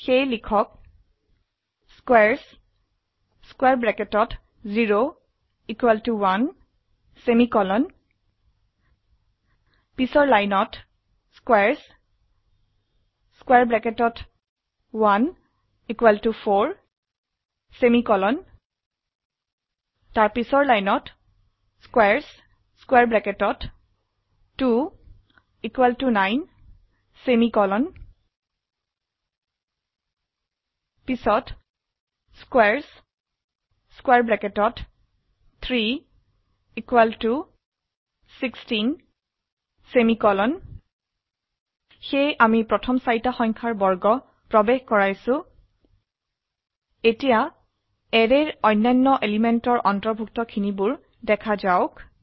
সেয়ে লিখক squares0 1 পিছৰ লাইনত squares1 4 পিছৰ লাইনত squares2 9 squares3 16 সেয়ে আমি প্ৰথম চাৰিটা সংখ্যাৰ বৰ্গ প্ৰবেশ কৰাইছো এতিয়া অ্যাৰেৰ অন্যান্য এলিমেন্টৰ অন্তৰ্ভুক্ত খিনিবোৰ দেখা যাওক